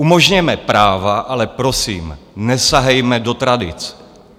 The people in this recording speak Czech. Umožněme práva, ale prosím, nesahejme do tradic.